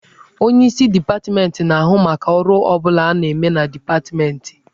Onyeisi dipatmentị na-ahụ maka ọrụ ọ bụla a na-eme na dipatmentị.